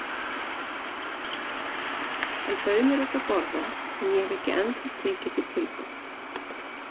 Hann bauð mér út að borða en ég hef ekki ennþá tekið því tilboð.